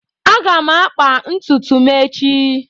Aga m akba ntutu m echi.